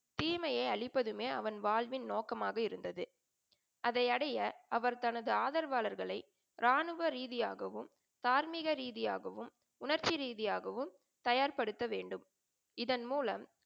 தீமையை அழிப்பதுமே அவன் வாழ்வின் நோக்கமாக இருந்தது. அதை அடைய அவர் தனது ஆதரவாளர்களை ராணுவ ரீதியாகவும், தார்மீக ரீதியாகவும், உணர்ச்சி ரீதியாகவும் தயார்படுத்த வேண்டும். இதன் மூலம்,